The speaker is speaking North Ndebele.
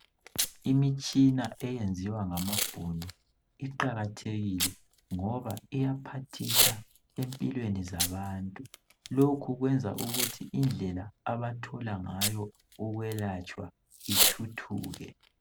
Imitshina eyenziwa ngamabhunu , iqakathekile ngoba iyaphathisa empilweni zabantu. Lokhu kwenza ukuthi indlela abathola ngayo ukwelatshwa ithuthuke.